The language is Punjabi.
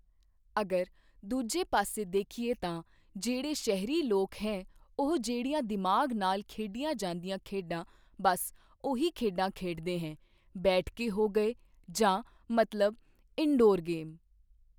ਅਗਰ ਦੂਜੇ ਪਾਸੇ ਦੇਖੀਏ ਤਾਂ ਜਿਹੜੇ ਸ਼ਹਿਰੀ ਲੋਕ ਹੈ ਉਹ ਜਿਹੜੀਆਂ ਦਿਮਾਗ ਨਾਲ ਖੇਡੀਆਂ ਜਾਂਦੀਆਂ ਖੇਡਾਂ ਬਸ ਉਹੀ ਖੇਡਾਂ ਖੇਡਦੇ ਹੈ ਬੈਠ ਕੇ ਹੋ ਗਏ ਜਾਂ ਮਤਲਬ ਇਨਡੋਰ ਗੇਮ।